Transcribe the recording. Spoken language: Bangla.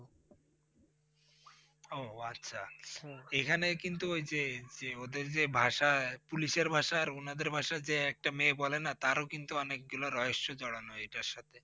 ও আচ্ছা এখানে কিন্তু ওই যে যে ওদের যে ভাষা Police এর ভাষা আর ওনাদের ভাষা যে একটা মেয়ে বলে না তারও কিন্তু অনেকগুলো রয়স্য জড়ানো এটার সাথে।